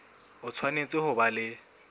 o tshwanetse ho ba le